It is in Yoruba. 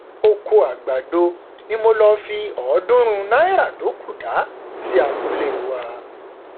ọkọ àgbàdo ni mo lọọ fi ọọdúnrún náírà tó kù dá sí abúlé wa